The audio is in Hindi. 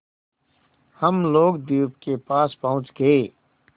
हम लोग द्वीप के पास पहुँच गए